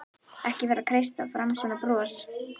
Ekki vera að kreista fram svona bros!